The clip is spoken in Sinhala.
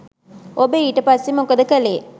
ඔබ ඊට පස්සේ මොකද කළේ?